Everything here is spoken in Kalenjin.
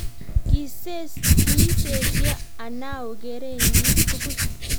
Kiisesio Anao kerenyi tugul